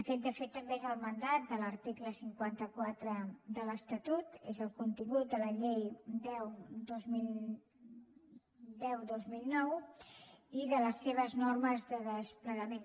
aquest de fet també és el mandat de l’article cinquanta quatre de l’estatut és el contingut de la llei deu dos mil nou i de les seves normes de desplegament